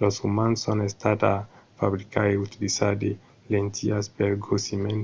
los umans son estats a fabricar e utilizar de lentilhas pel grossiment